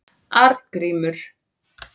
Arngrímur